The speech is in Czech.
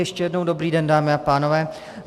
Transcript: Ještě jednou dobrý den, dámy a pánové.